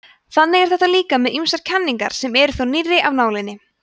þannig er þetta líka með ýmsar kenningar sem eru þó nýrri af nálinni